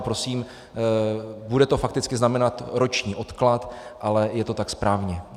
A prosím, bude to fakticky znamenat roční odklad, ale je to tak správně.